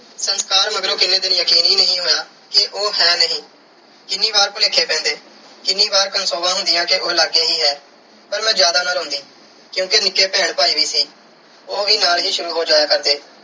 ਸੰਸਕਾਰ ਮਗਰੋਂ ਕਿੰਨੇ ਦਿਨ ਯਕੀਨ ਹੀ ਨਹੀਂ ਹੋਇਆ ਕਿ ਉਹ ਹੈ ਨਹੀਂ। ਕਿੰਨੀ ਵਾਰ ਭੁਲੇਖੇ ਪੈਂਦੇ। ਕਿੰਨੀ ਵਾਰ ਕਨਸੋਆਂ ਹੁੰਦੀਆਂ ਕਿ ਉਹ ਲਾਗੇ ਹੀ ਹੈ ਪਰ ਮੈਂ ਜਿਆਦਾ ਨਾ ਰੋਂਦੀ ਕਿਉਂਕਿ ਨਿੱਕੇ ਭੈਣ ਭਾਈ ਵੀ ਸੀ। ਉਹ ਵੀ ਨਾਲ ਹੀ ਸ਼ੁਰੂ ਹੋ ਜਾਇਆ ਕਰਦੇ।